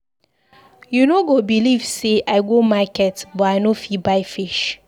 You no go believe say I go market but I no fit buy fish.